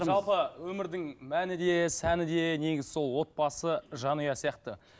жалпы өмірдің мәні де сәні де негізі сол отбасы жанұя сияқты